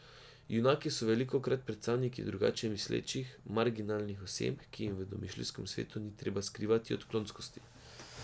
Junaki so velikokrat predstavniki drugače mislečih, marginalnih oseb, ki jim v domišljijskem svetu ni treba skrivati odklonskosti.